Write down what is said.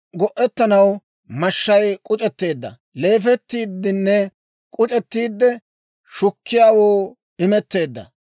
Go'ettanaw mashshay k'uc'etteedda; leefettiiddenne k'uc'ettiide, shukkiyaawoo imetteedda.